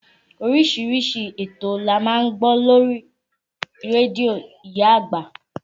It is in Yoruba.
Oríṣiríṣi ètò ni a máa ń gbọ́ lórí rédíò ìyá àgbà